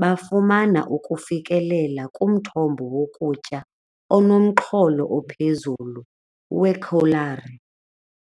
bafumana ukufikelela kumthombo wokutya onomxholo ophezulu weekholari.